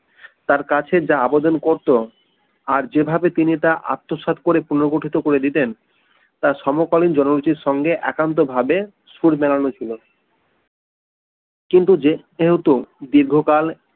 তার কাছে যা আবেদন করতো আর যেভাবে তিনি তা আত্মসাৎ করে পুনর্গঠিত করে দিতেন তার সমকালীন জনরুচির সঙ্গে একান্ত ভাবে সুর বানানো ছিল কিন্তু যেহেতু দীর্ঘকাল